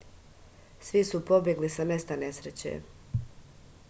svi su pobegli sa mesta nesreće